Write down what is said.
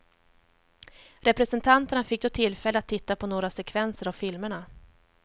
Representanterna fick då tillfälle att titta på några sekvenser av filmerna.